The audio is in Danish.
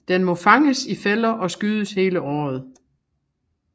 Den må fanges i fælder og skydes hele året